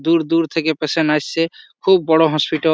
দূর দূর থেকে পেশেন্ট আসছে। খুব বড় হসপিটল ।